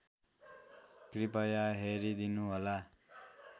कृपया हेरिदिनुहोला